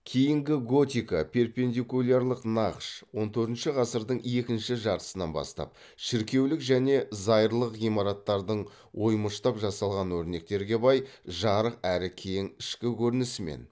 кейінгі готика шіркеулік және зайырлық ғимараттардың оймыштап жасалған өрнектерге бай жарық әрі кең ішкі көрінісімен